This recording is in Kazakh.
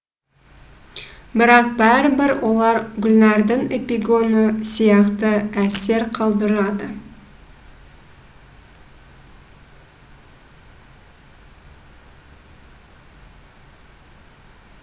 бірақ бәрібір олар гүлнәрдің эпигоны сияқты әсер қалдырады